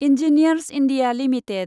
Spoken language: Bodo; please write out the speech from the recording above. engineers India limited